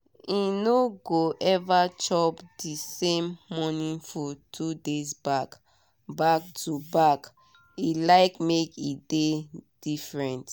e no go ever chop the same morning food two days back-to-back e like make e dey different.